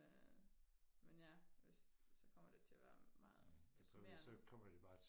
men ja hvis så kommer der til og være meget deprimerende